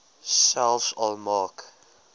selfs al maak